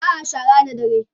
ba'a shara da dare